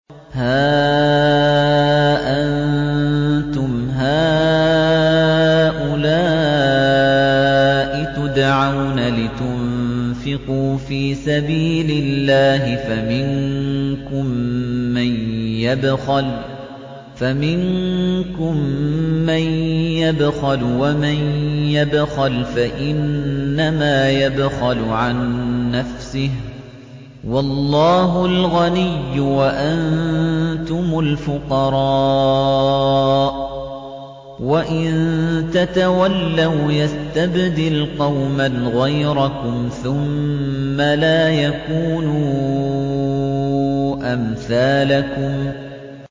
هَا أَنتُمْ هَٰؤُلَاءِ تُدْعَوْنَ لِتُنفِقُوا فِي سَبِيلِ اللَّهِ فَمِنكُم مَّن يَبْخَلُ ۖ وَمَن يَبْخَلْ فَإِنَّمَا يَبْخَلُ عَن نَّفْسِهِ ۚ وَاللَّهُ الْغَنِيُّ وَأَنتُمُ الْفُقَرَاءُ ۚ وَإِن تَتَوَلَّوْا يَسْتَبْدِلْ قَوْمًا غَيْرَكُمْ ثُمَّ لَا يَكُونُوا أَمْثَالَكُم